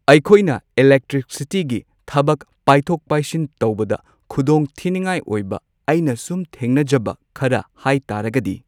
ꯑꯩꯈꯣꯢꯅ ꯏꯂꯦꯛꯇ꯭ꯔꯤꯁꯤꯇꯤꯒꯤ ꯊꯕꯛ ꯄꯥꯏꯊꯣꯛ ꯄꯥꯏꯁꯤꯟ ꯇꯧꯕꯗ ꯈꯨꯗꯣꯡꯊꯤꯅꯤꯡꯉꯥꯏ ꯑꯣꯏꯕ ꯑꯩꯅ ꯁꯨꯝ ꯊꯦꯡꯅꯖꯕ ꯈꯔ ꯍꯥꯏ ꯇꯥꯔꯒꯗꯤ